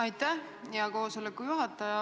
Aitäh, hea koosoleku juhataja!